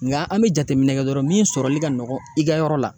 Nga an be jateminɛ kɛ dɔrɔn min sɔrɔli ka nɔgɔ i ka yɔrɔ la.